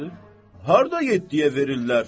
Hardan getdi verirlər.